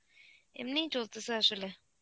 এমনিই চলতেছে আসলে.